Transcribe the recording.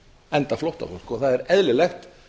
enda flóttafólk og það er eðlilegt